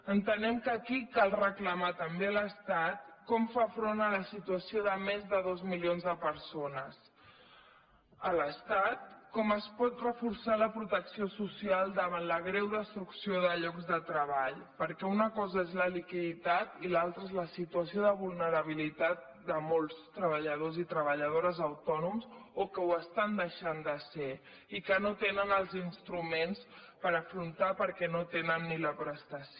entenem que aquí cal reclamar també a l’estat com fa front a la situació de més de dos milions de persones a l’estat com es pot reforçar la protecció social davant la greu destrucció de llocs de treball perquè una cosa és la liquiditat i l’altra és la situació de vulnerabilitat de molts treballadors i treballadores autònoms o que ho estan deixant de ser i que no tenen els instruments per afrontar perquè no tenen ni la prestació